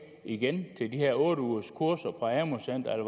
igen til de her otte ugers kurser på amu centrene